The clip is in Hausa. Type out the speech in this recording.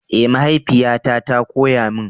Eh mahaifiyata ta koya mun.